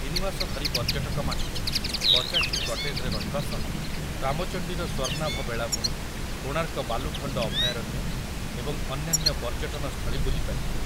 ତିନିମାସ ଧରି ପର୍ଯ୍ୟଟକ ମାନେ ପଚାଶଟି କଟେଜ୍‌ରେ ରହିବା ସହ ରାମଚଣ୍ଡୀର ସ୍ୱର୍ଣ୍ଣାଭ ବେଳାଭୂମି, କୋଣାର୍କ ବାଲୁଖଣ୍ଡ ଅଭୟାରଣ୍ୟ ଏବଂ ଅନ୍ୟାନ୍ୟ ପର୍ଯ୍ୟଟନ ସ୍ଥଳୀ ବୁଲିପାରିବେ।